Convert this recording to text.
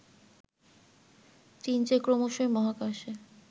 চীন যে ক্রমশই মহাকাশে